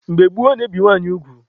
Mgbe gboo, a na-ebi nwaanyị ugwu.